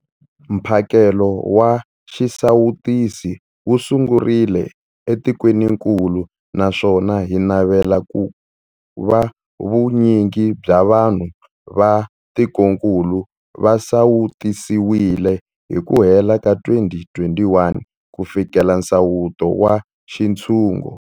Mphakelo wa xisawutisi wu sungurile etikwenikulu naswona hi navela ku va vunyingi bya vanhu va tikokulu va sawutisiwile hi ku hela ka 2021 ku fikelela nsawuto wa xintshungu.